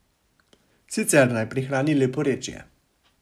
Sicer naj prihrani leporečje.